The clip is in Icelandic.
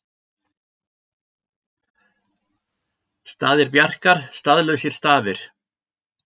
Staðir Bjarkar staðlausir stafir